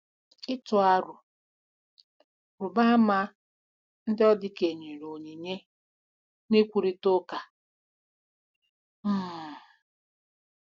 Ịtụ aro: Rụba ama ndị ọdị ka-enyere onyinye na nkwurịta ụka. um